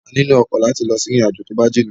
A lílò ọkọ̀ láti lọ sí ìrìn àjò tó bá jìnà